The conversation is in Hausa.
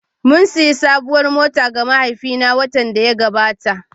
Mun sayi sabuwar mota ga mahaifina watan da ya gabata